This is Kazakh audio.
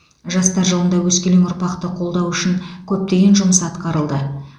жастар жылында өскелең ұрпақты қолдау үшін көптеген жұмыс атқарылды